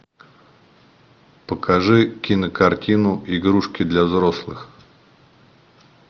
покажи кинокартину игрушки для взрослых